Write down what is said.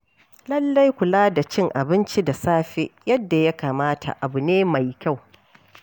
Lallai kula da cin abinci da safe yadda ya kamata abu ne mai kyau.